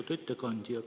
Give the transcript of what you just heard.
Lugupeetud ettekandja!